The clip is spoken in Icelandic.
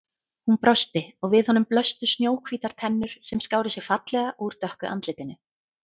Hún brosti og við honum blöstu snjóhvítar tennur sem skáru sig fallega úr dökku andlitinu.